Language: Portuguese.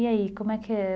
E aí, como é que é?